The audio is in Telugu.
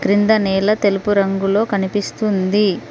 క్రింద నేల తెలుపు రంగులో కనిపిస్తుంది.